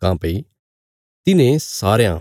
काँह्भई तिन्हें सारयां